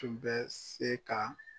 Tun bɛ se ka